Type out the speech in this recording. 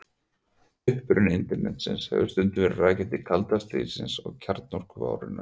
Uppruni Internetsins hefur stundum verið rakinn til kalda stríðsins og kjarnorkuvárinnar.